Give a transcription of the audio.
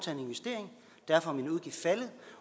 derfor er min udgift faldet